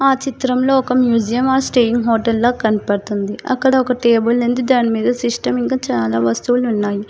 ఆ చిత్రంలో ఒక మ్యూజియం ఆర్ స్టేయింగ్ హోటల్లో కనపడుతుంది అక్కడ ఒక టేబుల్ ఉంది దానిమీద సిస్టమ్ ఇంకా చాలా వస్తువులు ఉన్నాయి.